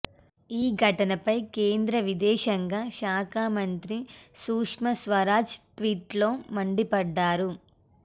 ఈ ఘటనపై కేంద్ర విదేశాంగ శాఖ మంత్రి సుష్మా స్వరాజ్ ట్వీట్లో మండిపడ్డారు